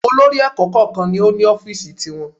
Olórí Èka ẹ̀kọ́ kọ̀ọ̀kan ni o ni Ófììsì ti wọn